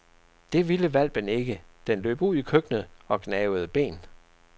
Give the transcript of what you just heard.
Det ville hvalpen ikke, den løb ud i køkkenet og gnavede ben.